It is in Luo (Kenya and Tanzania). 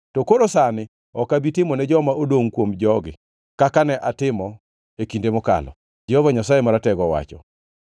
to koro sani ok abi timo ne joma odongʼ kuom jogi kaka ne atimo e kinde mokalo,” Jehova Nyasaye Maratego owacho.